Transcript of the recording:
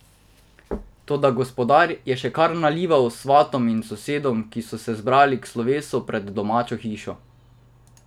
Toda gospodar je še kar nalival svatom in sosedom, ki so se zbrali k slovesu pred domačo hišo.